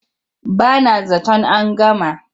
Ba na zaton an gama.